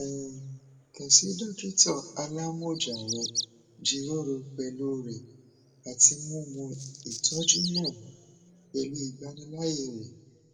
um kan si dokita alamọja rẹ jiroro pẹlu rẹ ati mu mu itọju naa pẹlu igbanilaaye re